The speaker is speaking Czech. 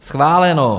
Schváleno.